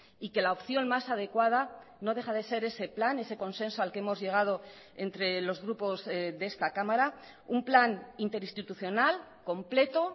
y que la opción más adecuada no deja de ser ese plan ese consenso al que hemos llegado entre los grupos de esta cámara un plan interinstitucional completo